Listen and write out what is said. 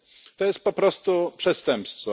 To jest po prostu przestępstwo.